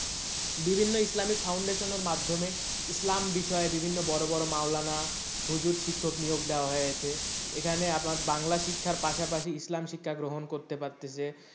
বিভিন্ন ইসলামী foundation এর মাধ্যমে ইসলাম বিষয়ে বিভিন্ন বড় বড় মাওলানা হুজুর শিক্ষক নিয়োগ দেওয়া হয়েছে এখানে আপনার বাংলা শিক্ষার পাশাপাশি ইসলাম শিক্ষার পাশাপাশি ইসলাম শিক্ষা গ্রহণ করতে পারতাছে।